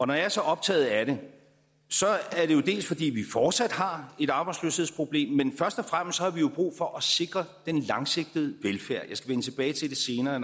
når jeg er så optaget af det er det fordi vi fortsat har et arbejdsløshedsproblem men først og fremmest har vi jo brug for at sikre den langsigtede velfærd jeg skal vende tilbage til det senere